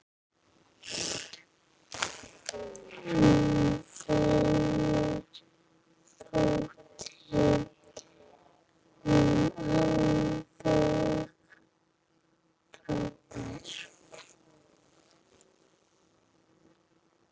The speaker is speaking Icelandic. Þeim þótti þú alveg frábær.